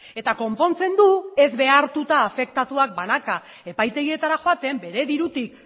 eta konpontzen du ez behartuta afektatuak banaka epaitegietara joaten bere dirutik